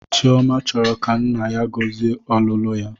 Chiọma chọrọ ka nna ya gọzie ọlụlụ ya